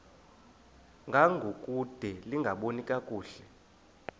ngangokude lingaboni kakuhle